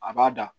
A b'a da